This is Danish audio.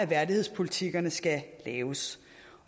værdighedspolitikkerne skal laves